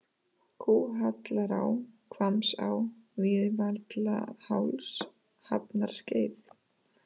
Kúhallará, Hvammsá, Víðivallaháls, Hafnarskeið